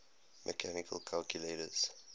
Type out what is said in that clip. mechanical calculators